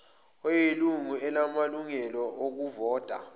oyilungu elingenamalungelo okuvota